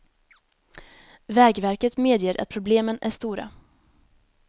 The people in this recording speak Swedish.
Vägverket medger att problemen är stora.